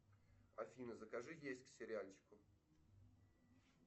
афина закажи есть к сериальчику